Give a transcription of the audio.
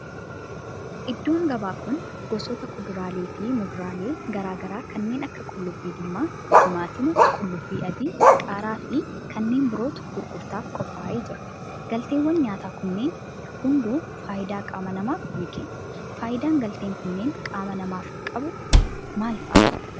Iddoon gabaa kun gosoota kuduraalee fi muduraalee garaa garaa kanneen akka qullubbii diimaa, timaatima, qullubbii adii, qaaraa fi kanneen birootu gurgurtaaf qophaa'ee jira. galteewwan nyaata kunneen hunduu faayidaa qaama namaaf ni kennu. faayidaan galteen kunneen qaama namaaf qabu maal fa'aadha?